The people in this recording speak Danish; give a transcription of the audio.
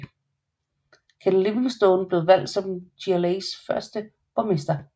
Ken Livingstone blev valgt som GLAs første borgmester